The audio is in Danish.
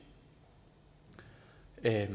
jeg